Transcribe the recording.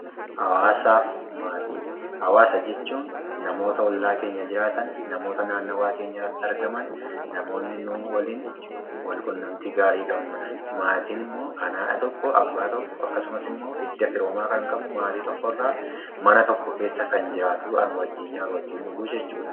Hawaasaa fi maatii: Hawaasa jechuun namoota ollaa keenya jiraatan, namoota naannawaa keenyarratti argaman, namoonni nuu waliin wal quunnamtii gaarii qabanudha. Maatiin immoo kan haadha tokko, abbaa tokko akkasumas immoo hidda firoomaa kan qabu maatii tokkorraa mana tokko keessa kan jiraatu, wajjin nyaatu, wajjin dhuguu jechuudha.